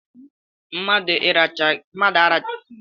Mmadụ na arachaghi ọnụ ya, ọ ga ebọ ifuru ebubo màkà iracha ya?